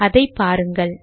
அதை பாருங்கள்